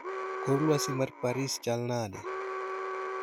Kor lwasi ma Paris chal nade